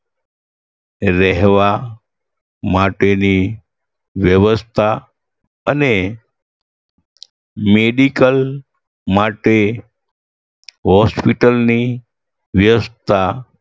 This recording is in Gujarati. રહેવા માટેની વ્યવસ્થા અને medical માટે hospital ની વ્યવસ્થા